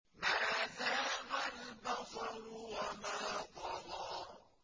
مَا زَاغَ الْبَصَرُ وَمَا طَغَىٰ